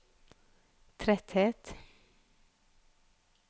tretthet